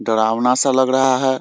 डरावना सा लग रहा है ।